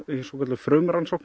frumrannsókn